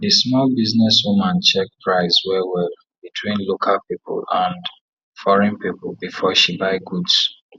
di small business woman check price wellwell between local people and foreign people before she buy goods